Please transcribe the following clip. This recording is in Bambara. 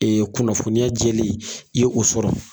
kunnafɔniya jɛlen i y'o sɔrɔ.